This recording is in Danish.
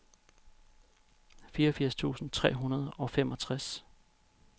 fireogfirs tusind tre hundrede og femogtres